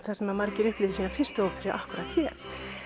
þar sem margir upplifðu sína fyrstu óperu akkúrat hér